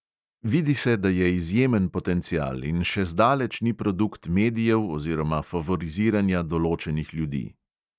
Vidi se, da je izjemen potencial in še zdaleč ni produkt medijev oziroma favoriziranja določenih ljudi.